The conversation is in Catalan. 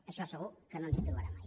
en això segur que no ens hi trobarà mai